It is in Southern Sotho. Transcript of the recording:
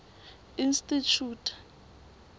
institjhute